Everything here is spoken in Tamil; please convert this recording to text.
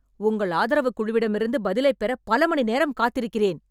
உங்கள் ஆதரவுக் குழுவிடமிருந்து பதிலைப் பெற பல மணிநேரம் காத்திருக்கிறேன்.